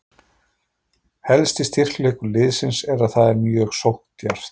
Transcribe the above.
Helsti styrkleikur liðsins er að það er mjög sókndjarft.